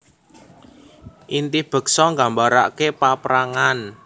Inti beksa nggambarake paaprangan